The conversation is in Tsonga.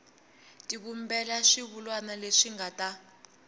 tivumbela swivulwa leswi nga ta